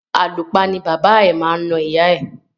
Àlùpa ni bàbá ẹ̀ máa na ìyá ẹ̀.